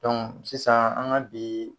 sisan an ka bi